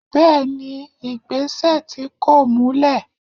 bẹẹni igbesẹ tí kọ̀ múlè.